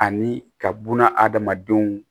Ani ka buna hadamadenw